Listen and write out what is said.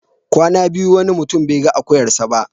Kwana biyu wani mutum bai ga akuyarsa ba.